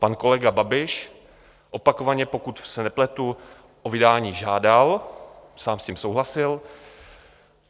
Pan kolega Babiš, opakovaně, pokud se nepletu, o vydání žádal, sám s tím souhlasil.